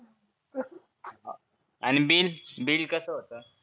आणि bill bill कसं होतं.